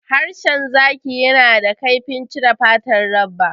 Harshen zaki yana da kaifin cire fatar dabba.